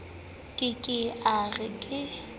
ke ke a re ke